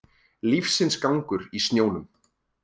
Lífsins gangur í snjónum